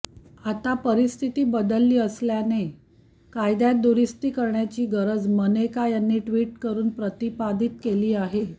आता परिस्थिती बदलली असल्याने कायद्यात दुरुस्ती करण्याची गरज मनेका यांनी टि्वट करून प्रतिपादित केली आहे